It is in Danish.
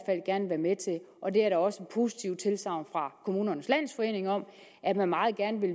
med til og der er også positive tilsagn fra kommunernes landsforening om at man meget gerne vil